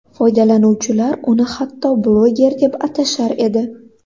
Foydalanuvchilar uni hatto bloger deb atashar edi.